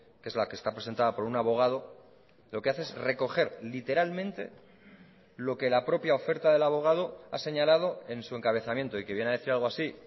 que es la que está presentada por unabogado lo que hace es recoger literalmente lo que la propia oferta del abogado ha señalado en su encabezamiento y que viene a decir algo así